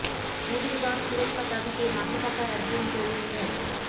নদীর বাঁধ সুরক্ষার দাবিতে মাঠে থাকা একজন তরুণ মো